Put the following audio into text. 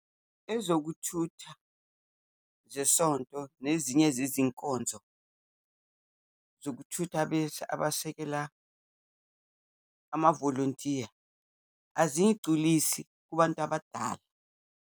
Ezokuthutha zesonto nezinye zezinkonzo zokuthutha abasekela amavolontiya, aziyigculisi kubantu abadala.